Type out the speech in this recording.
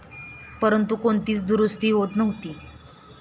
परंतु, कोणतीच दुरुस्ती होत नव्हती.